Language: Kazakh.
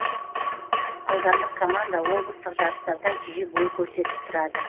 аудандық команда облыстық жарыстарда жиі бой көрсетіп тұрады